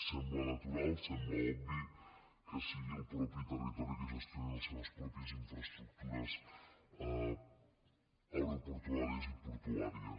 sembla natural sembla obvi que sigui el mateix territori que gestioni les seves pròpies infraestructures aeroportuàries i portuàries